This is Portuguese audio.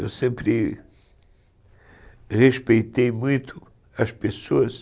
Eu sempre respeitei muito as pessoas,